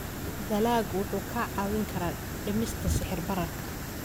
Dalaggu wuxuu kaa caawin karaa dhimista sicir bararka.